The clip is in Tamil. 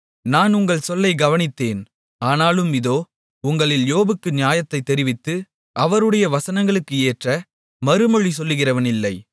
நான் உங்கள் சொல்லைக் கவனித்தேன் ஆனாலும் இதோ உங்களில் யோபுக்கு நியாயத்தைத் தெரிவித்து அவருடைய வசனங்களுக்கு ஏற்ற மறுமொழி சொல்லுகிறவனில்லை